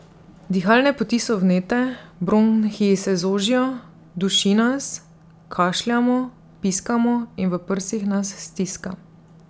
Dihalne poti so vnete, bronhiji se zožijo, duši nas, kašljamo, piskamo in v prsih nas stiska.